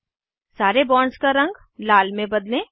सारे बॉन्ड्स का रंग लाल में बदलें